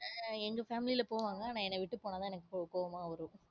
எர் எங்க family ல போவாங்க ஆனா என்ன விட்டு போனாதான் என்னக்கு கோவமா வரும்.